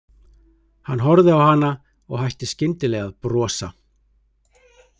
Hann horfði á hana og hætti skyndilega að brosa.